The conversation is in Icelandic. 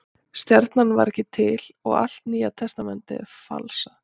Stjarnan var ekki til og allt Nýja testamentið er falsað.